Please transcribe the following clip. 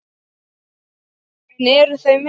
En eru þau með?